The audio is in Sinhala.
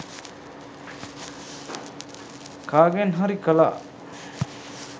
කාගෙන් හරි කලා